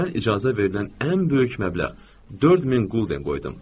Mən icazə verilən ən böyük məbləğ 4000 Golden qoydum.